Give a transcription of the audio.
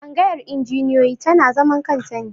Tsangayar injiniyoyi tana zaman kanta ne.